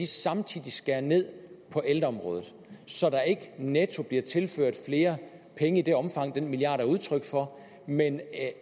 samtidig skære ned på ældreområdet så der ikke netto bliver tilført flere penge i det omfang den milliard er udtryk for men